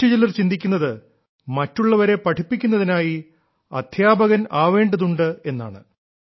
മറ്റു ചിലർ ചിന്തിക്കുന്നത് മറ്റുള്ളവരെ പഠിപ്പിക്കുന്നതിനായി അദ്ധ്യാപകൻ ആവേണ്ടതുണ്ട് എന്നാണ്